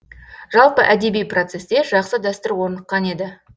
жалпы әдеби процесте жақсы дәстүр орныққан еді